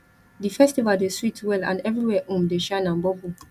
di festival dey sweet well and everywhere um dey shine and bubble